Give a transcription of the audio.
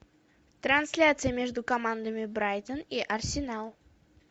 трансляция между командами брайтон и арсенал